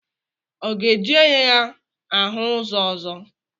Ọ ga-eji anya ya ahụ ụzọ ọzọ?